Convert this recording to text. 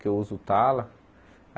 Que eu uso o tala.